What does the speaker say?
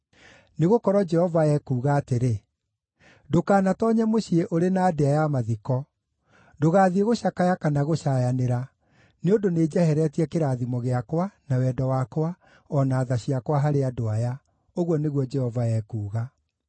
Nĩgũkorwo Jehova ekuuga atĩrĩ: “Ndũkanatoonye mũciĩ ũrĩ na ndĩa ya mathiko; ndũgathiĩ gũcakaya kana gũcaayanĩra, nĩ ũndũ nĩnjeheretie kĩrathimo gĩakwa, na wendo wakwa, o na tha ciakwa harĩ andũ aya,” ũguo nĩguo Jehova ekuuga.